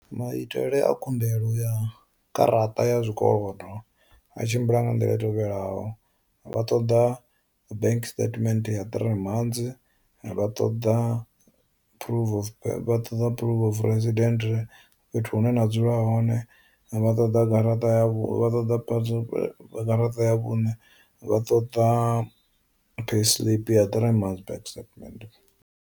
Maitele a khumbelo ya garaṱa ya zwikolodo a tshimbila nga nḓila i tevhelaho vha ṱoḓa bank statement ya three months, vha ṱoḓa proof of ṱoḓa proof of president fhethu hune na dzula hone, vha ṱoḓa garaṱa ya vhu ṱoḓa garaṱa ya vhune, vha ṱoḓa payslip ya three months banks statement.